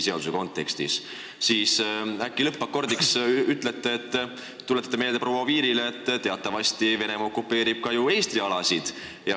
Äkki lõppakordiks tuletate proua Oviirile meelde, et teatavasti okupeerib Venemaa ju ka Eesti alasid.